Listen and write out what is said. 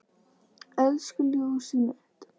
Elsku ljósið mitt.